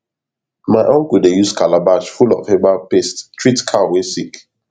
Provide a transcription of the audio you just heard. my uncle dey use calabash full of herbal paste treat cow wey sick